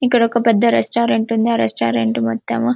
ఇక్కడ ఒక పెద్ద రెస్టారంట్ ఉంది ఆ రెస్టారంట్ మొత్తం --